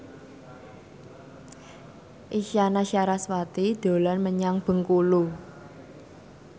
Isyana Sarasvati dolan menyang Bengkulu